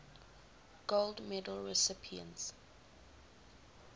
gold medal recipients